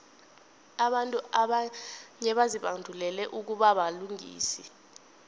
abantu abanye bazibandulele ukubabalingisi